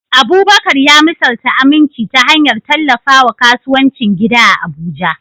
Abubakar ya misalta aminci ta hanyar tallafawa kasuwancin gida a Abuja.